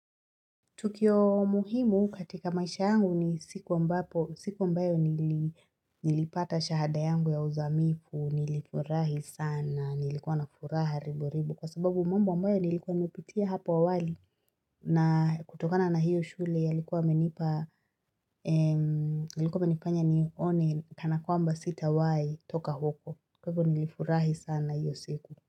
Tukio muhimu katika maisha yangu ni siku ambapo, siku ambayo nilipata shahada yangu ya uzamifu, nilifurahi sana, nilikuwa na furaha ribo ribo kwa sababu mambo ambayo nilikuwa nimepitia hapo awali na kutokana na hiyo shule yalikuwa yamenipa, nilikuwa imenifanya nione kana kwamba sitawahi toka huko. Kwa hivyo nilifurahi sana hiyo siku.